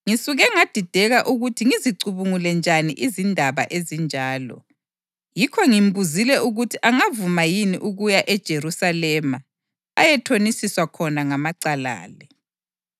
Ngisuke ngadideka ukuthi ngizicubungule njani izindaba ezinjalo; yikho ngimbuzile ukuthi angavuma yini ukuya eJerusalema ayethonisiswa khona ngamacala la.